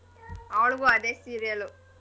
ಅವ್ಳಗೂ ಅದೇ serial ಉ.